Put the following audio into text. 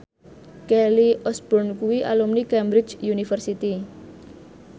Kelly Osbourne kuwi alumni Cambridge University